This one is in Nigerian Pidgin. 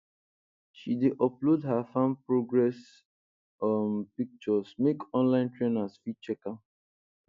she dey upload her farm progress um pictures make online trainers fit check am